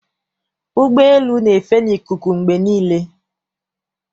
Ụgbọelu na-efe n'ikuku mgbe niile.